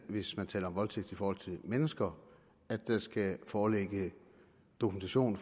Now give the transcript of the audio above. hvis man taler om voldtægt i forhold til mennesker at der skal foreligge dokumentation